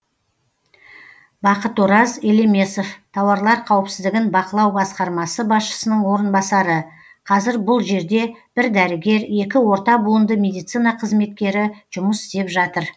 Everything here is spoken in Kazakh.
бақытораз елемесов тауарлар қауіпсіздігін бақылау басқармасы басшысының орынбасары қазір бұл жерде бір дәрігер екі орта буынды медицина қызметкері жұмыс істеп жатыр